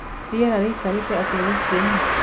rĩera riraikare atĩa wikiĩnõ